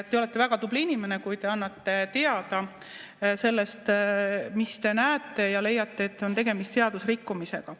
Te olete väga tubli inimene, kui te annate teada sellest, mida te näete ja mille puhul leiate, et on tegemist seadusrikkumisega.